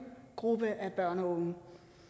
gruppe af børn og unge